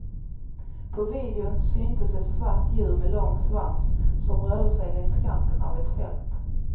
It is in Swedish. På videon syntes ett svart djur med lång svans som rörde sig längs kanten av ett fält.